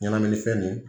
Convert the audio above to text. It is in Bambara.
Ɲɛnaminifɛn nin